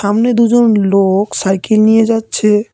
সামনে দুজন লোক সাইকেল নিয়ে যাচ্ছে।